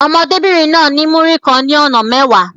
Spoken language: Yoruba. Ọmọdébìnrin náà ní Múrí kan ní ọ̀nà mẹ́wàá.